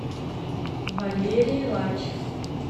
валерий лач